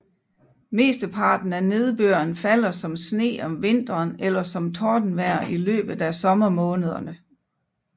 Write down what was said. Mesteparten af nedbøren faller som sne om vinteren eller som tordenvejr i løbet af sommermånederne